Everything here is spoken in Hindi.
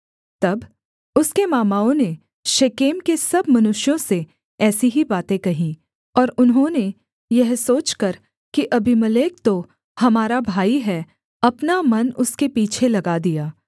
तब उसके मामाओं ने शेकेम के सब मनुष्यों से ऐसी ही बातें कहीं और उन्होंने यह सोचकर कि अबीमेलेक तो हमारा भाई है अपना मन उसके पीछे लगा दिया